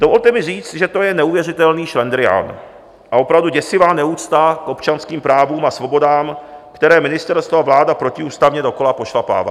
Dovolte mi říct, že to je neuvěřitelný šlendrián a opravdu děsivá neúcta k občanským právům a svobodám, které ministerstvo a vláda protiústavně dokola pošlapávají.